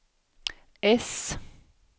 äss